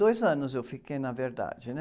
Dois anos eu fiquei, na verdade, né?